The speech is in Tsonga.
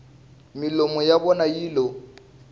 milomu ya vona yi lo